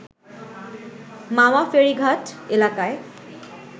মাওয়া ফেরীঘাট এলাকায়